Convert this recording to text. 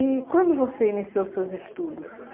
E quando você iniciou seus estudos?